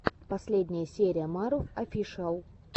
последняя серия марув офишиал